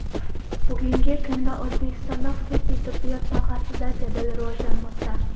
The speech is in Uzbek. Bugungi kunda O‘zbekistonda xususiy tibbiyot sohasi jadal rivojlanmoqda.